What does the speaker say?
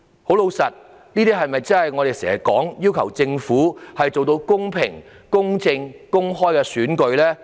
這些是否我們經常要求政府做到的公平、公正、公開選舉呢？